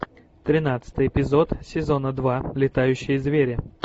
тринадцатый эпизод сезона два летающие звери